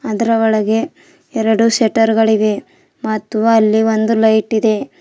ಅದರ ಒಳಗೆ ಎರಡು ಶೆಟರ್ ಗಳಿವೆ ಮತ್ತು ಅಲ್ಲಿ ಒಂದು ಲೈಟ್ ಇದೆ.